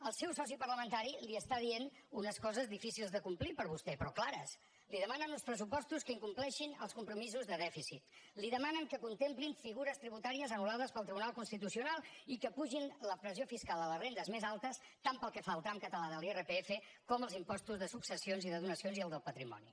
el seu soci parlamentari li està dient unes coses difícils de complir per vostè però clares li demanen uns pressupostos que incompleixin els compromisos de dèficit li demanen que contemplin figures tributàries anul·lades pel tribunal constitucional i que apugin la pressió fiscal a les rendes més altes tant pel que fa al tram català de l’irpf com als impostos de successions i de donacions i el del patrimoni